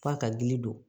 F'a ka gili don